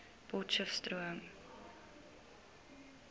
potcheftsroom